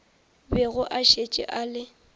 bego a šetše a le